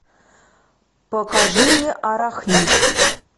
покажи мне арахнид